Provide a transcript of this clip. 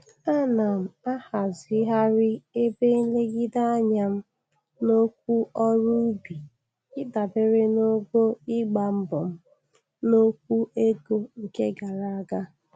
Ana m ahazigharị ebe nlegide anya m n'okwu ọrụ ubi ịdabere n'ogo ịgba mbọ m n'okwu ego nke gara aga.